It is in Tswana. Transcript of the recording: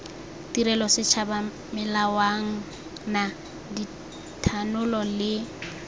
tirelo setšhaba melawana dithanolo le